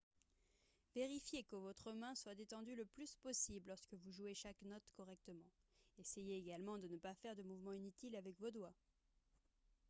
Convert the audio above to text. vérifiez que votre main soit détendue le plus possible lorsque vous jouez chaque note correctement essayez également de ne pas faire de mouvements inutiles avec vos doigts